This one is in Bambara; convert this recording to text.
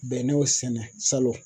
Bɛnɛw sɛnɛ salon